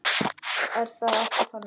Er það ekki þannig?